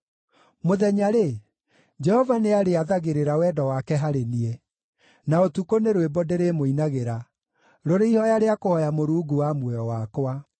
Mũthenya-rĩ, Jehova nĩarĩathagĩrĩra wendo wake harĩ niĩ, na ũtukũ nĩ rwĩmbo ndĩrĩmũinagĩra, rũrĩ ihooya rĩa kũhooya Mũrungu wa muoyo wakwa.